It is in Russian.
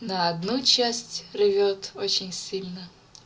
на одну часть рвёт очень сильно